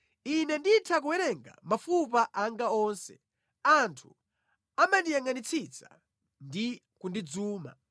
Ine nditha kuwerenga mafupa anga onse; anthu amandiyangʼanitsitsa ndi kundidzuma.